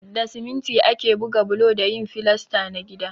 Da siminti ake buga bulo da yin filasta na gida.